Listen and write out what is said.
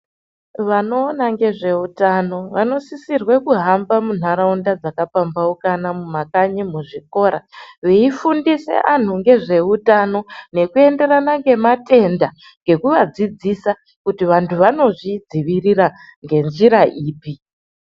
Vanoona ngezveutano, vanosisirwe kuhamba muntharaunda dzakapamphaukana mumakanyi, muzvikora veifundise vanthu ngezve utano nekuenderana ngematenda nekuvadzidzisa kuti vanthu vanozvidzivirira ngenjira ipi?